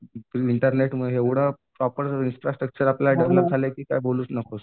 मिनिटातले एवढं proper infrastructure develop झालंय की काय बोलूच नकोस.